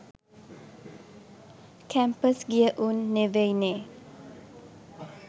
Campus ගිය උන් නෙවෙයිනේ.